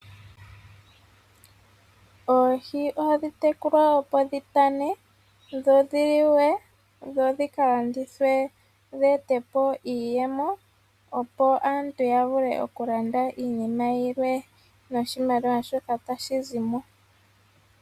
Oohi ohadhi tekulwa opo dhitane dho dhiliwe dho dhi kalandithwe dheetepo iiyemo opo aantu yavule okulanda iinima yilwe noshimaliwa shoka tashi zimo.